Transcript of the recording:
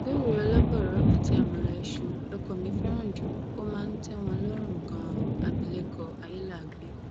gùrẹ olóbòro àti amọla iṣu lọkọ mi fẹràn jù ó máa ń tẹ wọn lọrùn ganan abilékọ ayéláàgbẹ